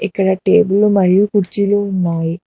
ఇక్కడ టేబులు మరియు కుర్చీలు ఉన్నాయి.